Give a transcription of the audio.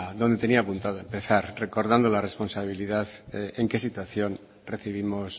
donde tenía apuntado empezar recordando la responsabilidad en qué situación recibimos